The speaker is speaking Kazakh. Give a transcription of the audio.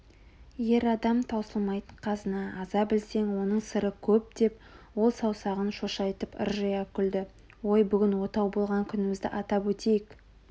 ер адам таусылмайтын қазына аза білсең оның сыры көп деп ол саусағын шошайтып ыржия күлді ой бүгін отау болған күнімізді атап өтейік